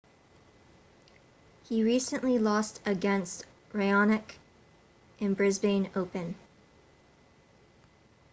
he recently lost against raonic in the brisbane open